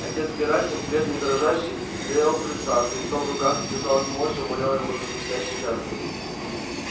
отец герасим бледный и дрожащий стоял у крыльца с крестом в руках и казалось молча умолял его за предстоящие жертвы